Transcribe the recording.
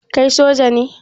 Kai soja ne?